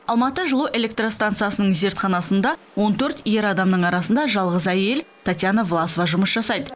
алматы жылу электростансасының зертханасында он төрт ер адамның арасында жалғыз әйел татьяна власова жұмыс жасайды